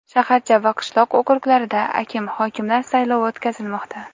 shaharcha va qishloq okruglarida akim (hokim)lar saylovi o‘tkazilmoqda.